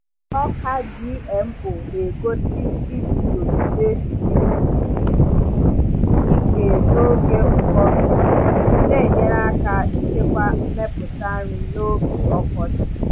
Ọka GMO na-egosi iguzogide siri ike n’oge ụkọ mmiri, na-enyere aka ịchekwa mmepụta nri n’oge ọkọchị.